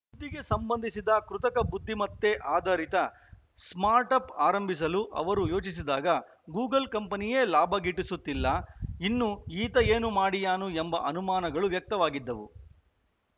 ಸುದ್ದಿಗೆ ಸಂಬಂಧಿಸಿದ ಕೃತಕ ಬುದ್ಧಿಮತ್ತೆ ಆಧರಿತ ಸ್ಟಾರ್ಟಪ್‌ ಆರಂಭಿಸಲು ಅವರು ಯೋಚಿಸಿದಾಗ ಗೂಗಲ್‌ ಕಂಪನಿಯೇ ಲಾಭ ಗಿಟ್ಟಿಸುತ್ತಿಲ್ಲ ಇನ್ನು ಈತ ಏನು ಮಾಡಿಯಾನು ಎಂಬ ಅನುಮಾನಗಳು ವ್ಯಕ್ತವಾಗಿದ್ದವು